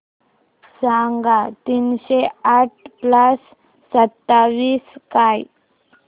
सांगा तीनशे आठ प्लस सत्तावीस काय